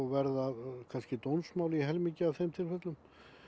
verða kannski dómsmál í helmingi af þeim tilfellum